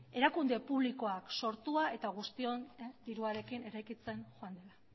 erakunde publikoak sortua eta guztion diruarekin eraikitzen joan dena